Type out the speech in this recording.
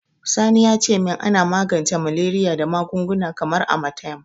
Sani ya ce min ana magance Malariya da magunguna kamar Amatem.